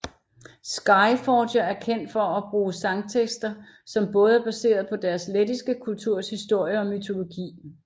Skyforger er kendt for at bruge sangtekster som både er baseret på deres lettiske kulturs historie og mytologi